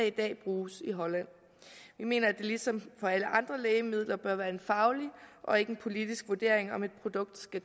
i dag bruges i holland vi mener at det ligesom for alle andre lægemidler bør være en faglig og ikke en politisk vurdering om et produkt skal